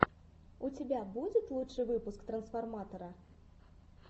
у тебя будет лучший выпуск трансформатора